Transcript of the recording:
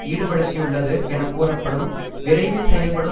ஈடுபடுத்தியுள்ளது என கூறப்படும் விரைவில் செயல்படும்